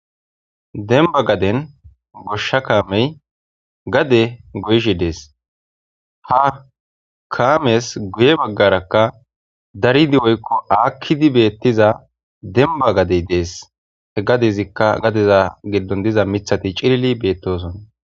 Demba gaden gosha kamey gade goyishe Des ha kames guye bagaraka darid woykko akid diza demba gaden Des he gadezka gadeza gidon diza mithat cilil betosona.